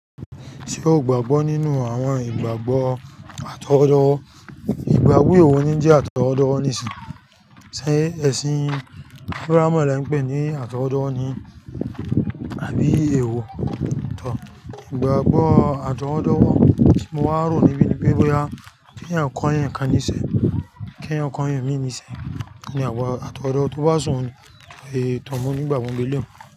Tí o gbàgbọ́ nínú àwọn ìgbàgbọ́ àtọwọ́dọ́wọ́, ìgbàgbọ́ wo ni o ní jẹ́ àtọwọ́dọ́wọ́ nísìnyí, shé ẹ̀sìn Abrahamu lẹ ńpè ní àtọwọ́dọ́wọ́ ni àbí èèwọ̀. Ìgbàgbọ́ àtọwọ́dọ́wọ́ tí mo wá rò níbí ni kí ènìyàn kọ èèyàn kàn nísẹ́ kí ẹni kọ èèyàn mi níṣẹ́ ni àwọn àtọwọ́dọ́wọ́ tó bá ṣe ohun ni, tọ mu ní ìgbàgbọ́ ìbílẹ̀.